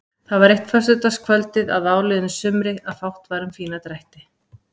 Það var eitt föstudagskvöldið að áliðnu sumri að fátt var um fína drætti.